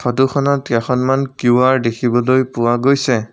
ফটোখনত কেইখনমান কিউ_আৰ দেখিবলৈ পোৱা গৈছে।